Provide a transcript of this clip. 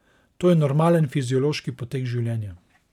To je normalen fiziološki potek življenja.